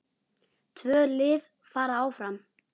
Tvö lið fara áfram.